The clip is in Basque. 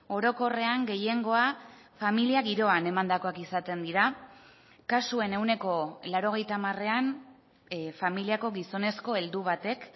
orokorrean gehiengoa familia giroan emandakoak izaten dira kasuen ehuneko laurogeita hamarean familiako gizonezko heldu batek